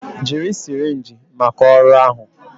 Jiri sirinji maka ọrụ ahụ